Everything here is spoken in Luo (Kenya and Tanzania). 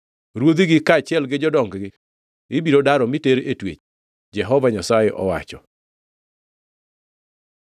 Ruodhigi kaachiel gi jodong-gi ibiro daro miter e twech,” Jehova Nyasaye owacho.